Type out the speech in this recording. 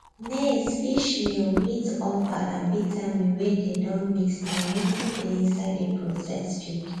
maizefishmeal wheat offal and vitamin wey dey don mix na wetin dey inside the processed feed